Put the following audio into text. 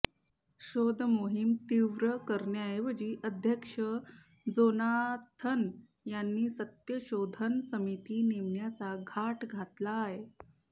शोधमोहीम तीव्र करण्याऐवजी अध्यक्ष जोनाथन यांनी सत्यशोधन समिती नेमण्याचा घाट घातलाय